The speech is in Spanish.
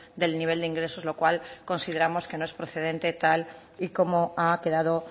del nivel de ingresos lo cual consideramos que no es procedente tal y como ha quedado